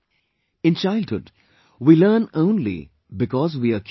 In childhood, we learn only because we are curious